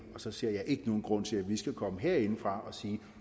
og så ser jeg ikke nogen grund til at vi skal komme herindefra og sige